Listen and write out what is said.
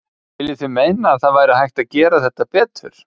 Viljið þið meina að það væri hægt að gera þetta betur?